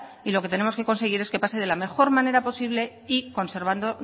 y lo que tenemos que conseguir es que pase de la mejor manera posible y conservando